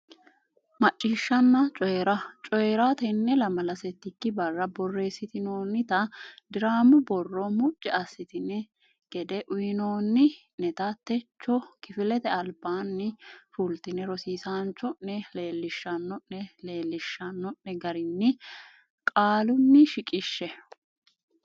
Macciishshanna Coyi ra Coyi ra Tenne lamala settikki barra borreessitinoonnita diraamu borro mucci assitinanni gede uynoonni neta techo kifilete albaanni fultine rosiisaanchi o ne leellishanno ne leellishshanno ne garinni qaalunni shiqishshe.